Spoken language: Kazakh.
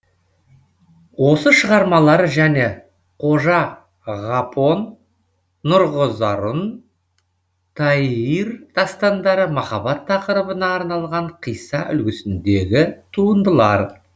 осы шығармалары және қожа ғапон нұрғызарун тайир дастандары махаббат тақырыбына арналған қисса үлгісіндегі туындылар